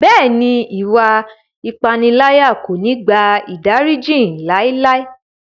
Bẹ́ẹ̀ni, iwạ ipanilaya ko ni gba idariji laelae.